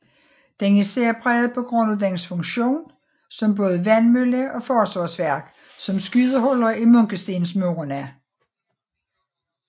Den er særpræget på grund af dens funktion som både vandmølle og forsvarsværk med skydehuller i munkestensmurene